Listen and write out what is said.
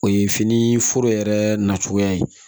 O ye fini foro yɛrɛ nacogoya ye